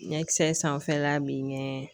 Ɲɛkisɛ sanfɛla bi ɲɛ